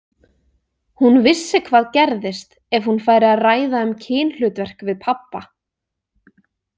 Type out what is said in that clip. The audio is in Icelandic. Hún vissi hvað gerðist ef hún færi að ræða um kynhlutverk við pabba.